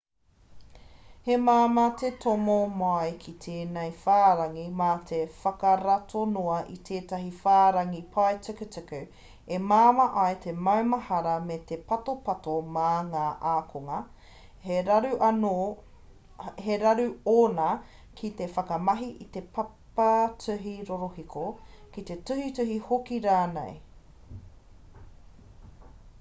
he māmā te tomo mai ki tēnei whārangi mā te whakarato noa i tētahi whārangi paetukutuku e māma ai te maumahara me te patopato mā ngā ākonga he raru ōna ki te whakamahi i te papatuhi rorohiko ki te tuhituhi hoki rānei